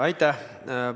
Aitäh!